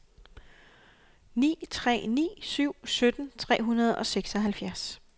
ni tre ni syv sytten tre hundrede og seksoghalvfjerds